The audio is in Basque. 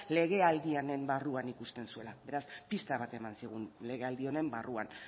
legealdi honen barruan ikusten zuela beraz pista bat eman zigun legealdi honen barruan